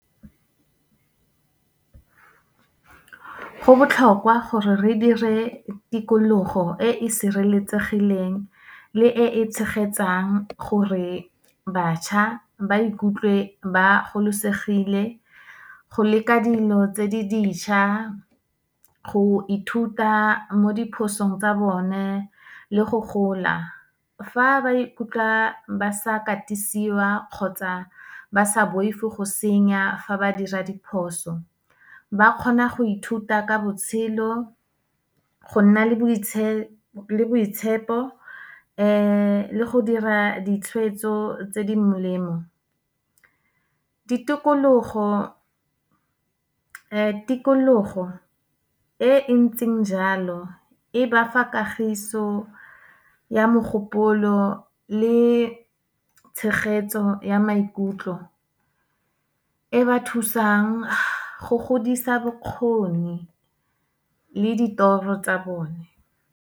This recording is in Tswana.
Go botlhokwa gore re dire tikologo e e sireletsegileng le e e tshegetsang, gore bašwa ba ikutlwe ba gololosegile go leka dilo tse di dišwa, go ithuta mo diphosong tsa bone le go gola. Fa ba ikutlwa ba sa katisiwa kgotsa ba sa boifi go senya fa ba dira diphoso, ba kgona go ithuta ka botshelo, go nna le boitshepo le go dira ditshwetso tse di molemo. Tikologo e entseng jalo, e ba fa kagiso ya mogopolo le tshegetso ya maikutlo. E ba thusang go godisa bokgoni le ditoro tsa bone.